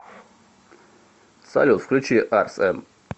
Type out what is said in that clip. салют включи арс эн